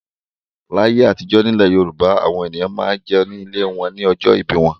Láyé àtijọ́ nílẹ̀ Yorùbá àwọn ènìyàn máa ń jẹun nílé wọn ní ọjọ́ ìbí wọn.